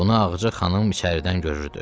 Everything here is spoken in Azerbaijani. Bunu Ağacı xanım içəridən görürdü.